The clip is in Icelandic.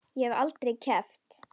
Ég hef aldrei keppt.